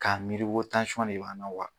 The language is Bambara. K'a miiri ko de b'an na wa